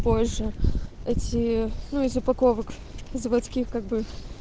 позже эти ну из упаковок заводских как бы